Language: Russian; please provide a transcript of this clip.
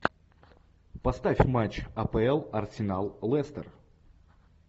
поставь матч апл арсенал лестер